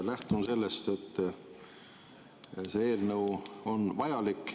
Lähtun sellest, et see eelnõu on vajalik.